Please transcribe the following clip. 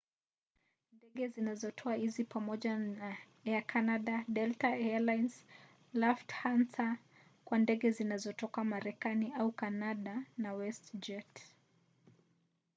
ndege zinazotoa hizi ni pamoja na air canada delta air lines lufthansa kwa ndege zinazotoka marekani au kanada na westjet